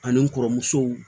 Ani n kɔrɔmusow